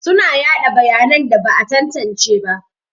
Suna yaɗa bayanan da ba a tantance ba.